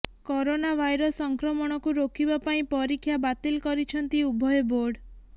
corona virus ସଂକ୍ରମଣକୁ ରୋକିବା ପାଇଁ ପରୀକ୍ଷା ବାତିଲ କରିଛନ୍ତି ଉଭୟ ବୋର୍ଡ